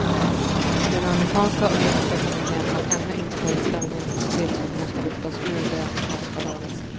Den amerikanska olympiska kommittén har ännu inte tagit ställning till om hon skall lyftas ur det amerikanska laget.